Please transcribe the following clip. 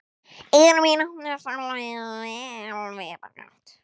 Eyru mín opnuðust alveg upp á gátt.